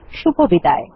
শুভবিদায়